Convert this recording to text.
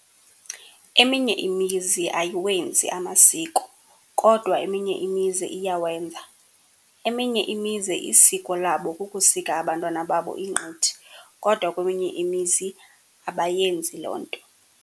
Eminye imizi ayiwenzi amasiko kodwa eminye imizi iyawenza. Eminye imizi isiko labo kukusika abantwana babo ingqithi kodwa keminye imizi abayenzi loo nto.